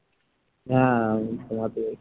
হ্যাঁ আমি ঘুমাতে যাচ্ছি।